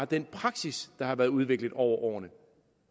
den praksis der har været udviklet over årene